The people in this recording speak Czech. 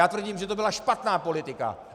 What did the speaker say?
Já tvrdím, že to byla špatná politika.